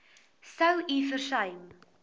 sou u versuim